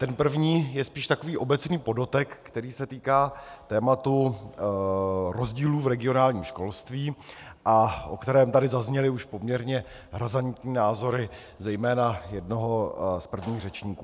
Ten první je spíš takový obecný podotek, který se týká tématu rozdílu v regionálním školství a o kterém tady zazněly už poměrně razantní názory zejména jednoho z prvních řečníků.